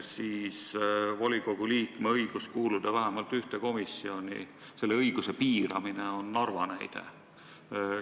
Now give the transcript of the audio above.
Kui jutt on volikogu liikme õigusest kuuluda vähemalt ühte komisjoni, siis selle õiguse piiramise kohta saab tuua näite Narvast.